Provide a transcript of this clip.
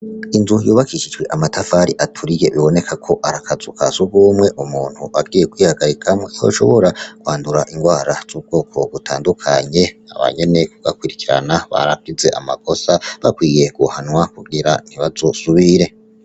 Inzu y'ubakishijwe amatafari aturiye, biboneka ko arakazu ka sugumwe, umuntu agiye kwihagarikamwo yoshobora kwandura inrwara zubwoko butandukanye abanyene bakurikirana baragize amakosa bakwiye guhanwa kugira ntibazosubire.